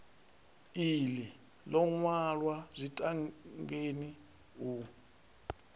iḽi ḽo ṅwalwa zwitangeni u